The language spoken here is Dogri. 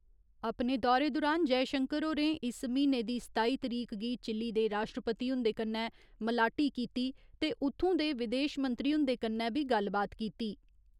अपने दौरे दुरान जयशंकर होरें इस म्हीने दी सताई तरीक गी चिल्ली दे राश्ट्रपति हुन्दे कन्नै मलाटी कीती ते उ'त्थूं दे विदेशमंत्री हुन्दे कन्नै बी गल्लबात कीती।